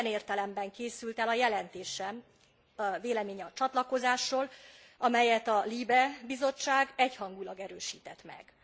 Ilyen értelemben készült el a jelentésem véleménye a csatlakozásról, amelyet a LIBE Bizottság egyhangúlag erősített meg.